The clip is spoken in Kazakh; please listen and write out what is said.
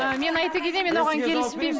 ыыы мен айта кетейін мен оған келіспеймін